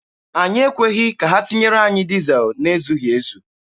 Anyị ekweghị ka ha tinyere anyị dizel na-ezughị ezu.